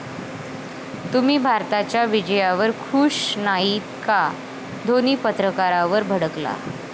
तुम्ही भारताच्या विजयावर खुश नाहीत का?, धोणी पत्रकारावर भडकला